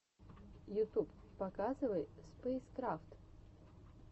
ютуб показывай спэйскрафт